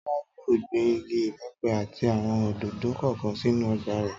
Tọ́lá yóò gbin igi ìbẹ́pẹ àti àwọn òdòdó kọ̀ọ̀kan sínú ọgbà rẹ̀